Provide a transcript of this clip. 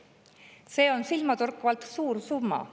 See on silmatorkavalt suur summa.